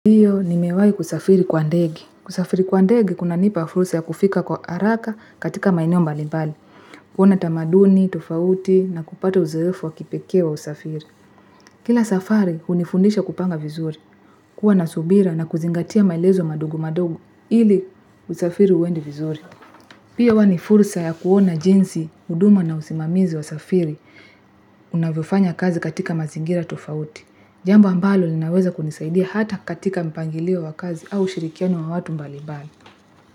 Ndio, nimewahi kusafiri kwa ndege. Kusafiri kwa ndege, kunanipa fursa ya kufika kwa haraka katika maeneo mbali mbali. Kuona tamaduni, tofauti na kupata uzoefu wa kipekee wa usafiri. Kila safari, unifundisha kupanga vizuri. Kuwa na subira na kuzingatia maelezo madogo madogo. Ili, usafiri uende vizuri. Pia, uwa ni fursa ya kuona jinsi, huduma na usimamizi wa safiri. Unavyofanya kazi katika mazingira tofauti. Jambo ambalo linaweza kunisaidia hata katika mpangilio wa kazi au shirikiano wa watu mbalibali.